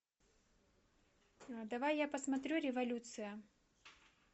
давай я посмотрю революция